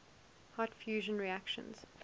hot fusion reactions